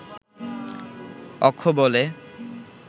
অক্ষ বলে